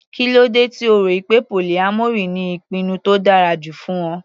Kílódé tí O rọ̀ pé polyamory ni ìpinnu tó dára jù fún Ọ.